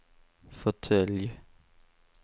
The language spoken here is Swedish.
fåtölj